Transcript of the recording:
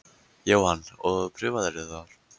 Jóhann: Og prufaðirðu þar?